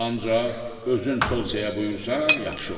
Ancaq özün polsiyaya buyursan, yaxşı olar.